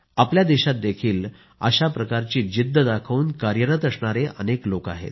आपल्या देशातही अशाप्रकारची जिद्द दाखवून कार्यरत असणारे अनेक लोक आहेत